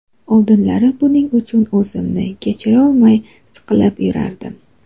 Oldinlari buning uchun o‘zimni kechirolmay, siqilib yurardim.